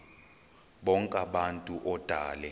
bonk abantu odale